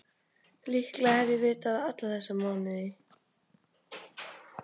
Líklega hef ég vitað það alla þessa mánuði.